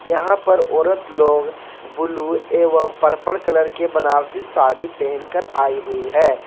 यहां पर औरत लोग ब्लू एवं पर्पल कलर के बनारसी साड़ी पहनकर आई हुई है।